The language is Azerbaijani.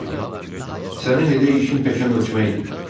Sənin elə işin-peşən ölçməkdir.